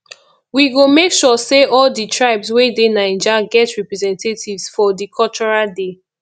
we go make sure sey all di tribes wey dey naija get representatives for di cultural day